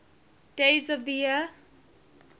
days of the year